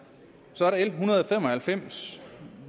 så er der l en hundrede og halvfems